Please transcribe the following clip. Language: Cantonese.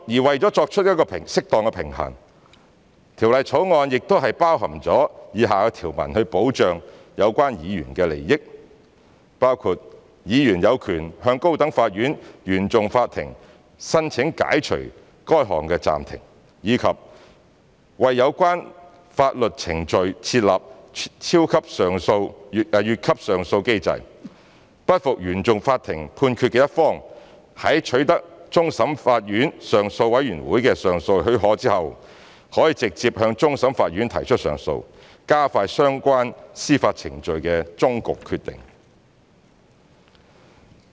為作出適當平衡，《條例草案》亦已包括以下條文，以保障有關議員的利益，包括議員有權向高等法院原訟法庭申請解除該項暫停；及為有關法律程序設立"越級上訴機制"，不服原訟法庭判決的一方，在取得終審法院上訴委員會的上訴許可後，可直接向終審法院提出上訴，加快相關司法程序的終局決定。